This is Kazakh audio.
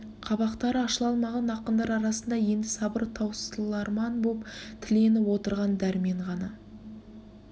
қабақтары ашыла алмаған ақындар арасында енді сабыры таусыларман боп тіленіп отырған дәрмен ғана